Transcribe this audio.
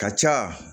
Ka ca